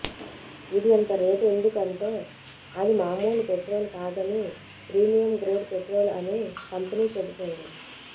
ఇది ఇంత రేటు ఎందుకు అంటే అది మామూలు పెట్రోల్ కాదనీ ప్రీమియం గ్రేడ్ పెట్రోల్ అని కంపెనీ చెబుతోంది